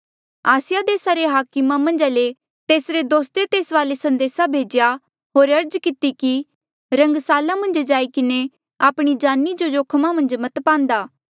आसिया देसा रे हाकमा मन्झा ले कुछ तेसरे दोस्ते तेस वाले संदेसा भेज्या होर अर्ज किती कि रंगसाला मन्झ जाई किन्हें आपणी जानी जो जोखमा मन्झ मत पांदा